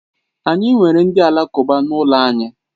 Anyị nwere ndị alakụba n'ụlọ anyị.